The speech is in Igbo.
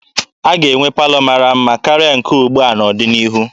A ga-enwe palọ mara mma karịa nke ugbua n'ọdịnihu.